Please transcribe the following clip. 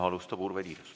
Alustab Urve Tiidus.